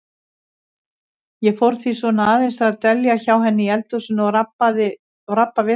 Ég fór því svona aðeins að dvelja hjá henni í eldhúsinu og rabba við hana.